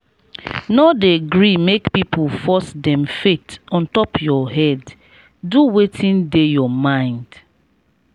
no dey gree make pipu force dem faith on top your head do wetin dey your mind.